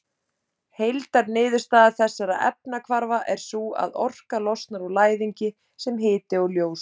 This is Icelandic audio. Heildarniðurstaða þessara efnahvarfa er sú að orka losnar úr læðingi sem hiti og ljós.